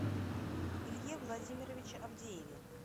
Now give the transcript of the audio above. илье владимировиче авдееве